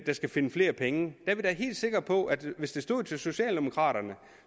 skal finde flere penge helt sikre på at hvis det stod til socialdemokraterne